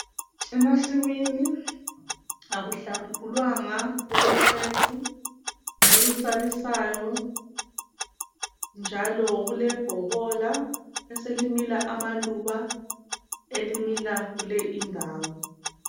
Emasimini akuhlakulwanga kuloqethu olusabisayo njalo kulebhokola eselimila amaluba elimila kule indawo.